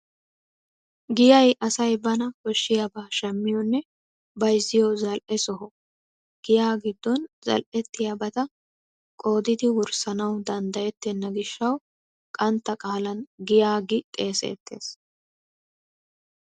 Giyay asay bana koshshabaa shammiyonne bayzziyo zal"e soho. Giya giddon zal"ettiyabata qoodidi wurssanawu danddayettenna gishshwu qantta qaalan giya gi xeeseettees.